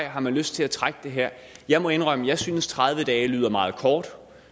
har lyst til at trække det her jeg må indrømme jeg synes at tredive dage lyder meget kort